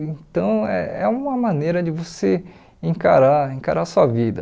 Então, é é uma maneira de você encarar encarar a sua vida.